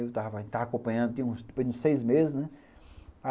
Eu estava estava acompanhando, seis meses, né?